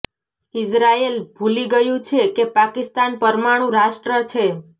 Israel ભૂલી ગયું છે કે પાકિસ્તાન પરમાણુ રાષ્ટ્ર છે